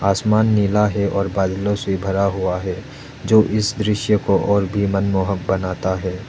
आसमान नीला है और बादलों से भरा हुआ है जो इस दृश्य को और भी मनमोहन बनाना है।